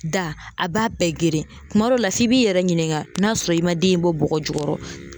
Da a b'a bɛɛ geren tuma dɔ la f'i b'i yɛrɛ ɲininka n'a sɔrɔ i man den in bɔ bɔgɔ jukɔrɔ.